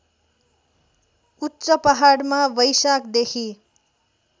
उच्च पहाडमा वैशाखदेखि